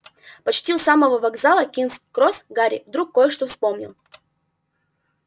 почти у самого вокзала кингс-кросс гарри вдруг кое-что вспомнил